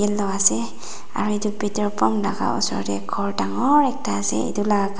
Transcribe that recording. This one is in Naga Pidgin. aro petor pumps la ka osor tey ghor dangor ekta ase etu la ka.